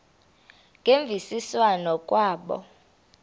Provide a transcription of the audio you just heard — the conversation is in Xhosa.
ngemvisiswano r kwabo